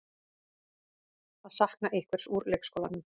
Að sakna einhvers úr leikskólanum